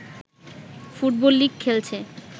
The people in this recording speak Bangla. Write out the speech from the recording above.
ফুটবল লীগ খেলছে